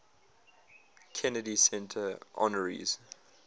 kennedy center honorees